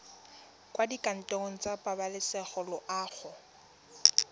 kwa dikantorong tsa pabalesego loago